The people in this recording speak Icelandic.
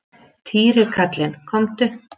Týri kallinn, komdu.